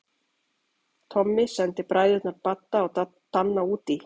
Tommi sendi bræðurna Badda og Danna útí